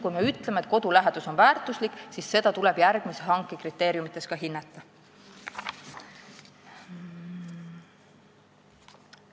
Kui me ütleme, et kodulähedus on väärtus, siis tuleb seda järgmises hankes kriteeriumina ka hinnata.